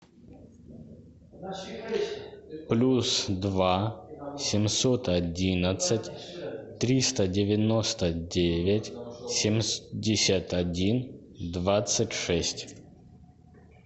плюс два семьсот одиннадцать триста девяносто девять семьдесят один двадцать шесть